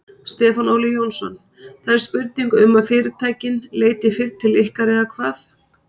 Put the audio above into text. Stefán Óli Jónsson: Það er spurning um að fyrirtækin leiti fyrr til ykkar eða hvað?